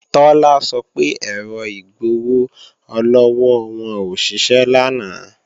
Tọ́lá sọ pé èrò igbowó-ọlọ́wọ́ wọn ò ṣiṣẹ́ lánàá